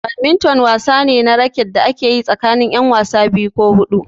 Badminton wasa ne na raket da ake yi tsakanin ƴan wasa biyu ko huɗu.